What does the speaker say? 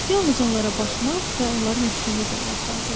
Yalnız onlara baxmaq və onların ətrini duymaq lazımdır.